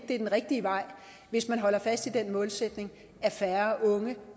det er den rigtige vej hvis man holder fast i den målsætning at færre unge